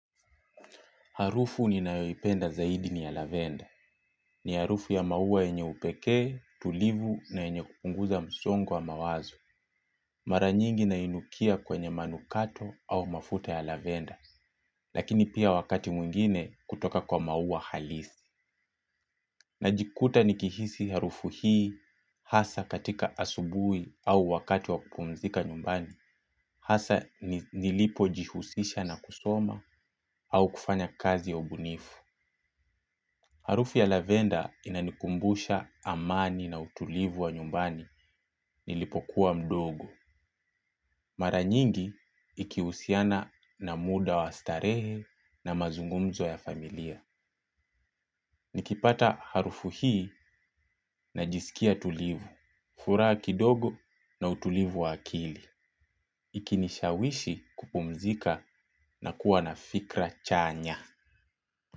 Harufu ninayoipenda zaidi ni ya lavender. Ni harufu ya maua yenye upekee, tulivu na yenye kupunguza msongo wa mawazo. Mara nyingi nainukia kwenye manukato au mafuta ya lavendar. Lakini pia wakati mwingine kutoka kwa maua halisi. Najikuta nikihisi harufu hii hasa katika asubuhi au wakati wa kupumzika nyumbani. Hasa nilipo jihusisha na kusoma au kufanya kazi ya ubunifu. Harufu ya lavender inanikumbusha amani na utulivu wa nyumbani nilipokuwa mdogo. Mara nyingi ikihusiana na muda wa starehe na mazungumzo ya familia. Nikipata harufu hii najisikia tulivu, furaha kidogo na utulivu wa akili. Ikinishawishi kupumzika na kuwa na fikra chanya.